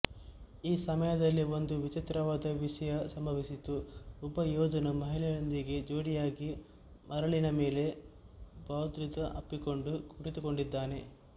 ಈ ಸಮಯದಲ್ಲಿ ಒಂದು ವಿಚಿತ್ರವಾದ ವಿಷಯ ಸಂಭವಿಸಿತು ಒಬ್ಬ ಯೋಧನು ಮಹಿಳೆಯೊಂದಿಗೆ ಜೋಡಿಯಾಗಿ ಮರಳಿನ ಮೇಲೆ ಭಾವೋದ್ರಿಕ್ತ ಅಪ್ಪಿಕೊಂಡು ಕುಳಿತುಕೊಂಡಿದ್ದಾನೆ